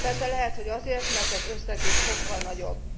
Persze lehet, hogy azért, mert az összeg is sokkal nagyobb.